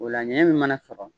O la ɲɛnɲin min mana sɔrɔ.